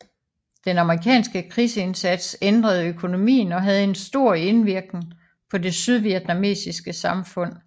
Den amerikanske krigsindsats ændrede økonomien og havde en stor indvirken på det sydvietnamesiske samfund